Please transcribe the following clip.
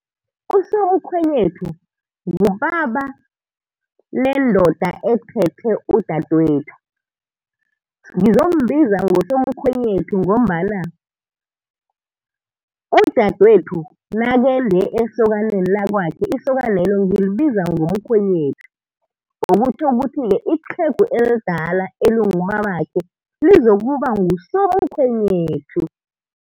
Usomkhwenyethu ngubaba lendoda ethethe udadwethu. Ngizombiza ngosomkhwenyethu ngombana udadwethu nakende esokaneni lakwakhe isokanelo ngilibiza ngomkhwenyethu. Okutjho ukuthi iqhegu elidala elingubabakhe lizokuba ngusomkhwenyethu.